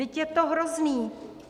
Vždyť je to hrozné!